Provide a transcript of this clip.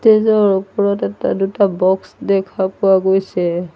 Stage ৰ ওপৰত এটা দুটা বক্স দেখা পোৱা গৈছে।